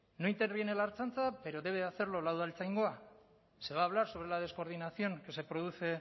no interviene la ertzaintza pero debe de hacerlo la udaltzaingoa se va a hablar sobre la descoordinación que se produce